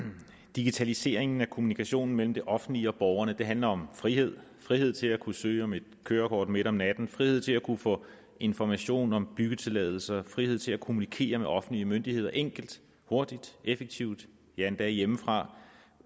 digitaliseringen af kommunikationen mellem det offentlige og borgerne handler om frihed frihed til at kunne søge om et kørekort midt om natten frihed til at kunne få information om byggetilladelser og frihed til at kommunikere med offentlige myndigheder enkelt hurtigt og effektivt ja endda hjemmefra